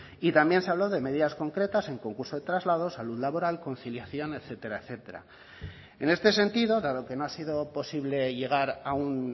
y también se habló de medidas concretas en concurso de traslados salud laboral conciliación etcétera etcétera en este sentido dado que no ha sido posible llegar a un